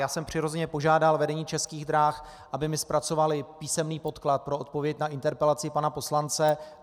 Já jsem přirozeně požádal vedení Českých drah, aby mi zpracovalo písemný podklad pro odpověď na interpelaci pana poslance.